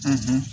Ka